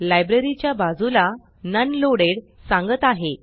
library च्या बाजूला non loaded non loaded सांगत आहे